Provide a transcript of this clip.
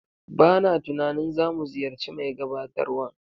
B a na tunanin za mu ziyarci mai gabatarwan.